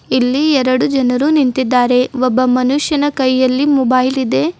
ಇಲ್ಲಿ ಎರಡು ಜನರು ನಿಂತಿದ್ದಾರೆ ಒಬ್ಬ ಮನುಷ್ಯನ ಕೈಯಲ್ಲಿ ಮೊಬೈಲ್ ಇದೆ.